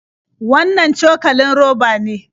Wannan cokalin roba ne?